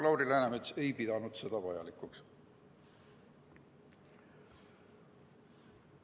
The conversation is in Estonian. Lauri Läänemets ei pidanud seda aga vajalikuks.